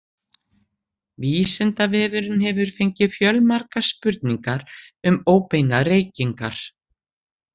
Vísindavefurinn hefur fengið fjölmargar spurningar um óbeinar reykingar.